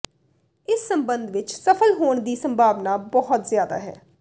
ਇਸ ਸਬੰਧ ਵਿਚ ਸਫਲ ਹੋਣ ਦੀ ਸੰਭਾਵਨਾ ਬਹੁਤ ਜ਼ਿਆਦਾ ਹੈ